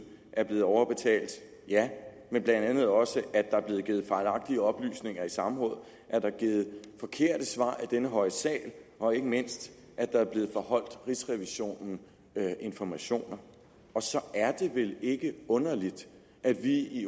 er blevet overbetalt men blandt andet også at der er blevet givet fejlagtige oplysninger i samråd at der er givet forkerte svar i denne høje sal og ikke mindst at der er blevet forholdt rigsrevisionen informationer og så er det vel ikke underligt at vi i